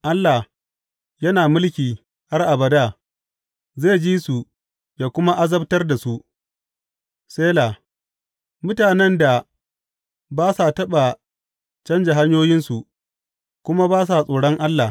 Allah, yana mulki har abada, zai ji su yă kuma azabtar da su, Sela mutanen da ba sa taɓa canja hanyoyinsu kuma ba sa tsoron Allah.